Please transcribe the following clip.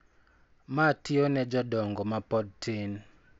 Ma tiyo ne jodongo ma pod tin.